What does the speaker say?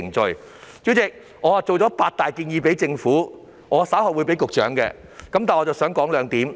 代理主席，我預備了八大建議給政府，我稍後會把建議提交給局長。